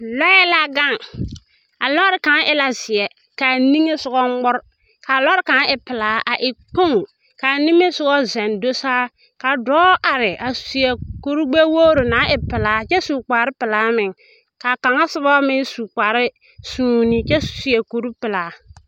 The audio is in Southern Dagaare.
Lɔɛ la gaŋ. A lɔɔre kaŋa e la zeɛ kaa niŋesogɔ ŋmor kaa lɔre kaŋ e pelaa a e kpoŋ kaa nimisogɔ zɛŋ do saa ka dɔɔ are a seɛ kur-gbɛwoori naŋ e pelaa kyɛ su kparepelaa meŋ ka kaŋa soba meŋ su kparesuuni kyɛ seɛ kuripelaa.